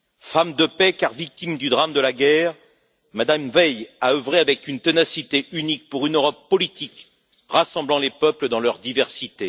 Femme de paix, car victime du drame de la guerre, Mme Veil a œuvré avec une ténacité unique pour une Europe politique rassemblant les peuples dans leur diversité.